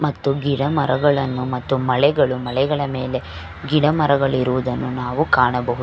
ಮತ್ತು ಗಿಡಮರಗಳನ್ನು ಮತ್ತು ಮಳೆಗಳು ಮಳೆಗಳ ಮೇಲೆ ಗಿಡಮರಗಳಿರುವುದನ್ನ ನಾವು ಕಾಣಬಹುದು .